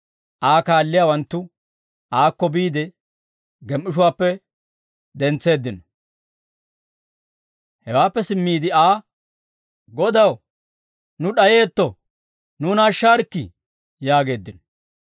Aa kaalliyaawanttu aakko biide, gem"ishuwaappe dentseeddino; hewaappe simmiide Aa, «Godaw, nuuni d'ayeetto; nuuna ashshaarikkii» yaageeddino.